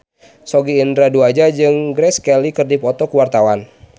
Sogi Indra Duaja jeung Grace Kelly keur dipoto ku wartawan